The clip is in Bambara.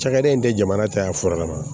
Cakɛda in tɛ jamana caya fura kama